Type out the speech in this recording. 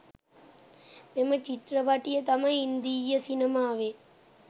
මෙම චිත්‍රපටය තමයි ඉන්දීය සිනමාවේ